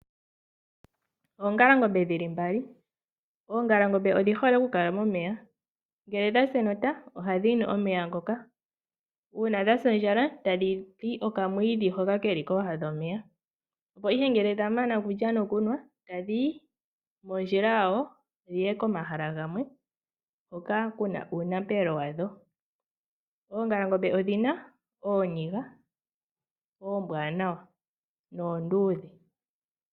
Oongalangombe odhi hole okukala momeya. Ngele dha sa enota ohadhi nu omeya ngoka, uuna dha sa ondjala tadhi li okamwiidhi hoka ke li kooha dhomeya . Opo ihe ngele dha mana okulya nokunwa tadhi yi mondjila yawo dhi ye komahala gamwe hoka ku na uunapelo wadho. Oongalangombe odhi na ooniga oombwaanawa noonduudhe.